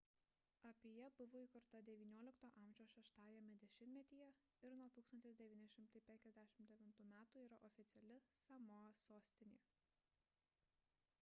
apija buvo įkurta xix a 6-ajame dešimtmetyje ir nuo 1959 m yra oficiali samoa sostinė